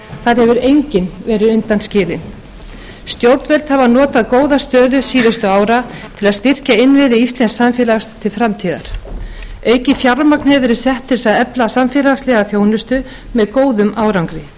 þar hefur enginn verið undan skilinn stjórnvöld hafa notað góða stöðu síðustu ára til að styrkja innviði íslensks samfélags til framtíðar aukið fjármagn hefur verið sett til þess að efla samfélagslega þjónustu með góðum árangri